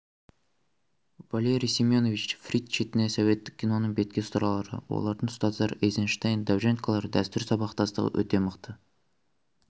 валерий семенович фрид шетінен советтік киноның бетке ұстарлары олардың ұстаздары эйзенштейн довженколар дәстүр сабақтастығы өте мықты